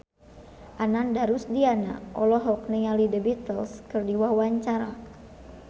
Ananda Rusdiana olohok ningali The Beatles keur diwawancara